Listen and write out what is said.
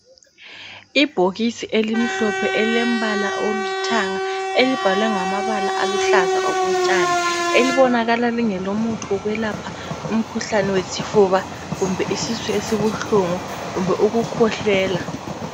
Ibhokisi elimhlophe elilembala oluthanga elibhaliweyo ngamabala aluhlaza okotshani elibonakala lingelomuthi wokwelapha umkhuhlane wesifuba kumbe isisu esibuhlungu kumbe ukukhwehlela.